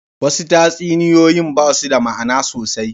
Wasu tatsuniyoyin ba su da ma'ana sosai.